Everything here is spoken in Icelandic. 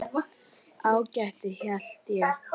Ágætt held ég.